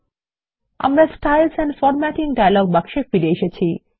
আমরা শৈলী ও বিন্যাস ডায়ালগ বাক্সে ফিরে এসেছি